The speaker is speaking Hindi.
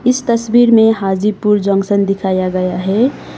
इस तस्वीर में हाजीपुर जंक्शन दिखाया गया है।